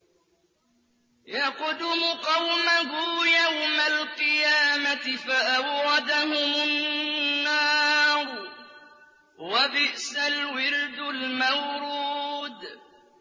يَقْدُمُ قَوْمَهُ يَوْمَ الْقِيَامَةِ فَأَوْرَدَهُمُ النَّارَ ۖ وَبِئْسَ الْوِرْدُ الْمَوْرُودُ